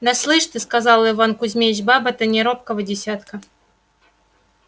да слышь ты сказал иван кузмич баба-то не робкого десятка